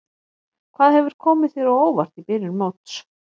Hvað hefur komið þér á óvart í byrjun móts?